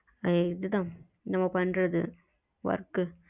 இதுதான் நம்ம பண்றது work